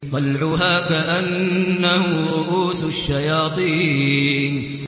طَلْعُهَا كَأَنَّهُ رُءُوسُ الشَّيَاطِينِ